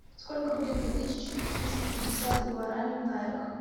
сколько будет две тысячи триста пятьдесят гуарани в найрах